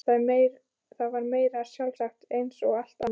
Það var meira en sjálfsagt eins og allt annað.